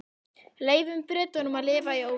Leyfum Bretunum að lifa í óvissu.